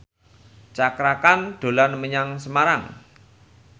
Cakra Khan dolan menyang Semarang